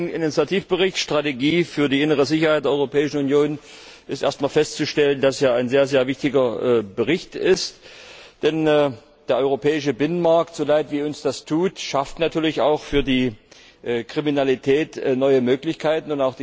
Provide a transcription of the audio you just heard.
Zu dem vorliegenden Initiativbericht über die Strategie für die innere Sicherheit der Europäischen Union ist erst einmal festzustellen, dass er ein sehr wichtiger Bericht ist, denn der europäische Binnenmarkt so leid uns das tut schafft natürlich auch für die Kriminalität neue Möglichkeiten.